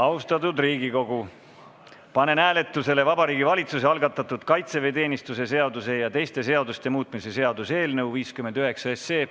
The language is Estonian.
Austatud Riigikogu, panen hääletusele Vabariigi Valitsuse algatatud kaitseväeteenistuse seaduse ja teiste seaduste muutmise seaduse eelnõu 59.